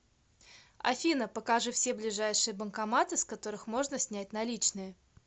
афина покажи все ближайшие банкоматы с которых можно снять наличные